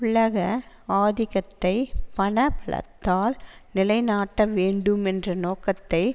உலக ஆதிக்கத்தை பண பலத்தால் நிலை நாட்ட வேண்டும் என்ற நோக்கத்தை